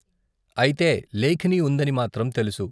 అయితే లేఖిని ఉందని మాత్రం తెలుసు.